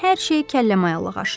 hər şey kəlləmayalığa aşır.